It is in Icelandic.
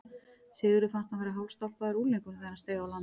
Sigurði fannst hann vera hálfstálpaður unglingur þegar hann steig á land.